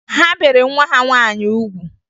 Ha bere nwa ha nwaanyị ugwu